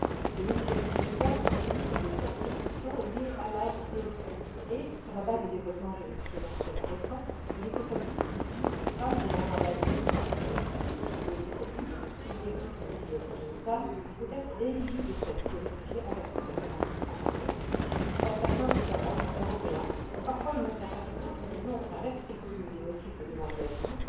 Les mutilations génitales sont reconnues comme des persécutions liées à l'âge et au sexe et, sur la base des développements jurisprudentiels récents, il est établi qu'une fille ou qu'une femme demandant l'asile parce qu'elle a subi ou est susceptible de subir une mutilation génitale peut être éligible au statut de réfugiée en vertu de la convention de 1951. Or, certains États membres européens ont parfois une interprétation disons restrictive des motifs de demande d'asile.